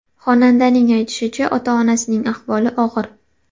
Xonandaning aytishicha, ota-onasining ahvoli og‘ir.